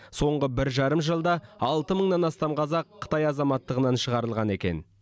соңғы бір жарым жылда алты мыңнан астам қазақ қытай азаматтығынан шығарылған екен